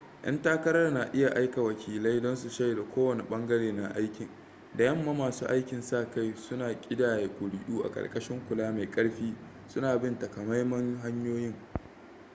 'yan takarar na iya aika wakilai don su shaida kowane bangare na aikin da yamma masu aikin sa kai suna kidaya kuri'u a karkashin kula mai karfi suna bin takamaiman hanyoyin